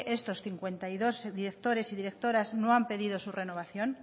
estos cincuenta y dos directores y directoras no han pedido su renovación